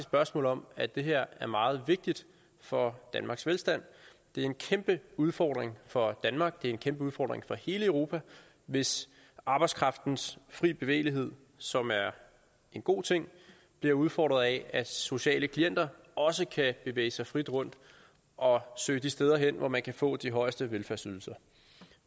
spørgsmål om at det her er meget vigtigt for danmarks velstand det er en kæmpe udfordring for danmark og det er en kæmpe udfordring for hele europa hvis arbejdskraftens fri bevægelighed som er en god ting bliver udfordret af at sociale klienter også kan bevæge sig frit rundt og søge de steder hen hvor man kan få de højeste velfærdsydelser